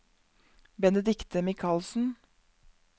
Benedicte Michaelsen